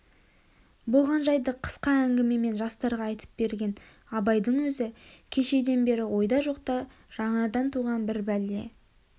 болған жайды қысқа әңгімемен жастарға айтып берген абайдың өзі кешеден бері ойда жоқта жаңадан туған бір бәле